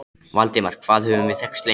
Valdimar, hvað höfum við þekkst lengi?